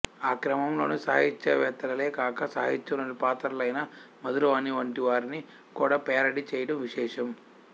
ఆ క్రమంలోనే సాహిత్యవేత్తలే కాక సాహిత్యంలోని పాత్రలైన మధురవాణి వంటివారిని కూడా పేరడీ చేయడం విశేషం